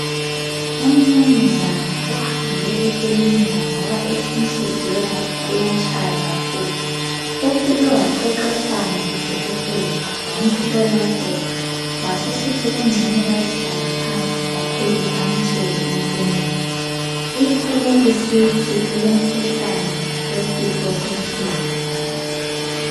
Umnumzane uhambe ekilinika ngoba ethi inhliziyo yakhe iyatshaya kakhulu. Ufike waxoxisana lodokotela wamhlolahlola wasesithi kungcono bayehlala phansi bakhulume amtshele impumela. Iphume isithi ulomkhuhlane wesifo senhliziyo.